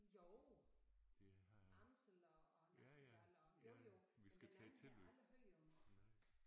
Jo. Amsel og og Nachtigall jo jo men den anden har jeg aldrig hørt om